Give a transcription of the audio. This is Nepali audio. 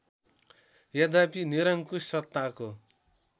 यद्यपि निरङ्कुश सत्ताको